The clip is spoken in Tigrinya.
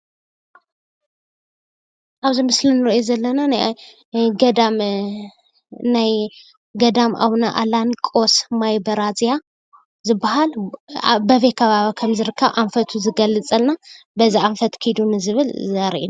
ኣብዚ ምስሊ እንርእዮ ዘለና ናይ ገዳም ኣቡነ ኣላኒቆስ ማይ ብራዝያ ዝብሃል በበይ ከባቢ ከምዝርከብ ኣንፈቱ ዝገለፀልና በዚ ኣንፈተ ኪዱ ንዝብለና ዘርኢ እዩ::